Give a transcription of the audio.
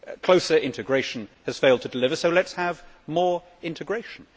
Closer integration has failed to deliver, so let us have more integration.